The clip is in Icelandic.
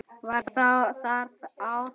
Var þar á að